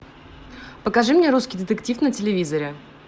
покажи мне русский детектив на телевизоре